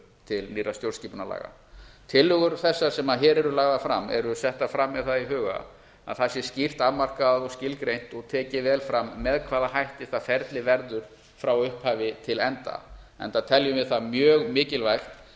til nýrra stjórnskipunarlaga tillögur þessar sem hér eru lagðar fram eru settar fram með það í huga að það sé skýrt afmarkað og skilgreint og tekið vel fram með hvaða hætti það ferli verður frá upphafi til enda enda teljum við það mjög mikilvægt